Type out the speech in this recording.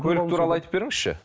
көлік туралы айтып беріңізші